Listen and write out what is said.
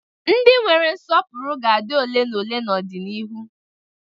Ndị nwere nsọpụrụ ga-adị ole na ole n'ọdịnihu.